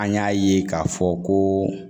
An y'a ye ka fɔ koo